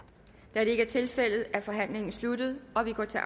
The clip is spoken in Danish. da det ikke er tilfældet er forhandlingen sluttet og vi går til